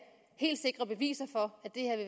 helt sikre beviser for